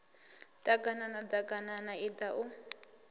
ḓ aganana ḓaganana iḓa u